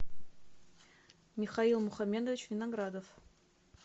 михаил мухамедович виноградов